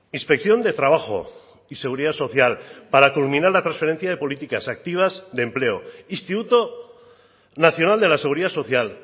inspección de trabajo y seguridad social para culminar la transferencia de políticas activas de empleo instituto nacional de la seguridad social